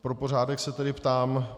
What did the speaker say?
Pro pořádek se tedy ptám.